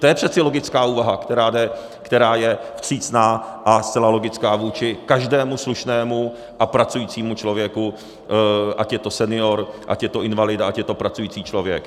To je přece logická úvaha, která je vstřícná a zcela logická vůči každému slušnému a pracujícímu člověku, ať je to senior, ať je to invalida, ať je to pracující člověk.